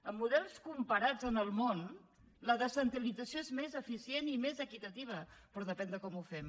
amb models comparats en el món la descentralització és més eficient i més equitativa però depèn de com ho fem